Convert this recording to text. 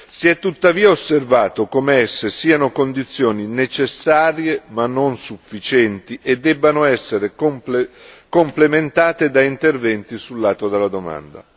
Si è tuttavia osservato come esse siano condizioni necessarie ma non sufficienti e debbano esser complementate da interventi sull'atto della domanda.